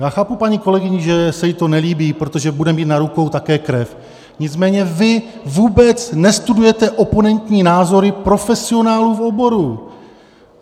Já chápu paní kolegyni, že se jí to nelíbí, protože bude mít na rukou také krev, nicméně vy vůbec nestudujete oponentní názory profesionálů v oboru.